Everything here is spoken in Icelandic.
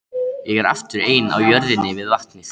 Ég er aftur ein á jörðinni við vatnið.